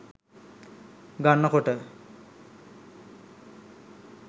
ගන්න කොට